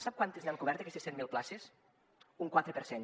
sap quantes n’han cobert d’aquestes cent mil places un quatre per cent